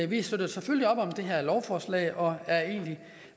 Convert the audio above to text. vi støtter selvfølgelig op om det her lovforslag og er egentlig